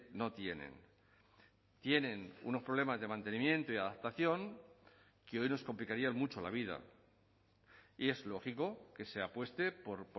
no tienen tienen unos problemas de mantenimiento y adaptación que hoy nos complicarían mucho la vida y es lógico que se apueste por